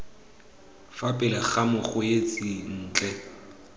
fa pele ga mokgweetsi ntle